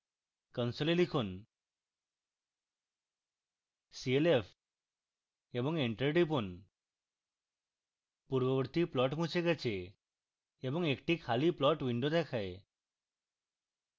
console লিখুন: clf এবং enter টিপুন পূর্ববর্তী plot মুছে গেছে এবং একটি খালি plot window দেখায়